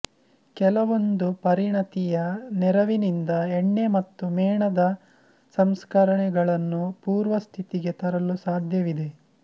ಕೆಲವೊಂದು ಪರಿಣತಿಯ ನೆರವಿನಿಂದ ಎಣ್ಣೆ ಮತ್ತು ಮೇಣದ ಸಂಸ್ಕರಣೆಗಳನ್ನು ಪೂರ್ವಸ್ಥಿತಿಗೆ ತರಲು ಸಾಧ್ಯವಿದೆ